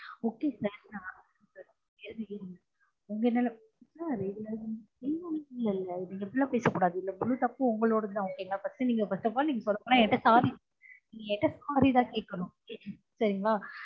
okay sir நான் உங்க நல்லதுக்கு தான் நீங்க இப்டி எல்லான் பேச கூடாது இதுல முழு தப்பும் உங்களொடது தான் okay ங்கலா first நீங்க first upall சொல்லப்போன நீங்க என் கிட்ட sorry நீங்க என் கிட்ட sorry தான் கேக்கனும் சரிங்கலா